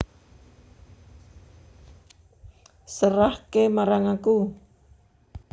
Serahke marang aku